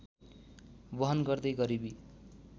बहन गर्दै गरिबी